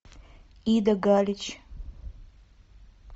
ида галич